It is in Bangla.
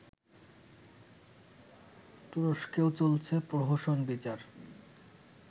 তুরস্কেও চলছে প্রহসন-বিচার